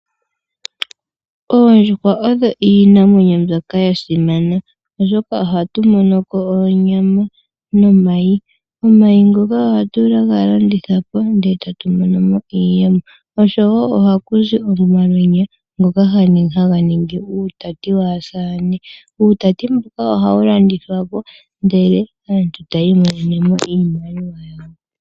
Oondjuhwa odho iinamwenyo mbyoka ya simana oshoka oha tu mono ko onyama nomayi. Omayi ngoka oha tu ga landithapo ndele tatu monomo iiyemo, osho woo oha ku zi omalweenya ngoka ha ga ningi uutati wasamane. Uutati mbuka ohawu landithwa po ndele aantu ta yi monene mo iimaliwa yawo.